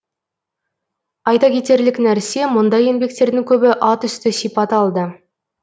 айта кетерлік нәрсе мұндай еңбектердің көбі атүсті сипат алды